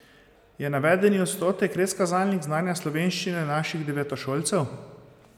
Je navedeni odstotek res kazalnik znanja slovenščine naših devetošolcev?